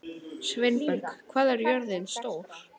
Sveinberg, hvað er jörðin stór?